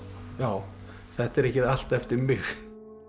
já þetta er ekki allt eftir mig